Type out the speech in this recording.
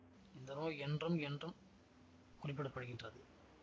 இந்த நோய் என்றும் என்றும் குறிப்பிட படுகின்றது